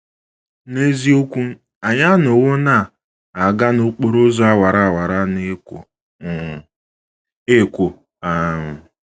N’eziokwu, anyị anọwo na - aga n’okporo ụzọ awara awara na - ekwo um ekwo. um